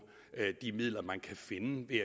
de midler man kan finde ved